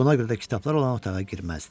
Buna görə də kitablar olan otağa girməzdi.